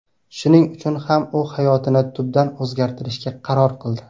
Shuning uchun ham u hayotini tubdan o‘zgartirishga qaror qildi.